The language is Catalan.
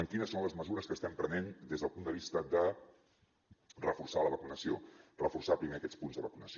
quines són les mesures que estem prenent des del punt de vista de reforçar la vacunació reforçar primer aquests punts de vacunació